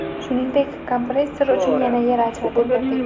Shuningdek, kompressor uchun yana yer ajratib berdik.